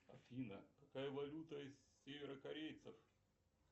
афина какая валюта у северокорейцев